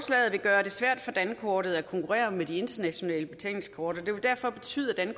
vil gøre det svært for dankortet at konkurrere med de internationale betalingskort og det vil derfor betyde at